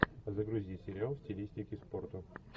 загрузи сериал в стилистике спорта